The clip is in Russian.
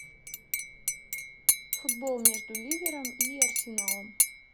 футбол между ливером и арсеналом